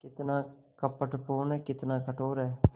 कितना कपटपूर्ण कितना कठोर है